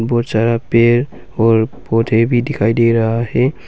बहुत सारा पेड़ और पौधे भी दिखाई दे रहा है।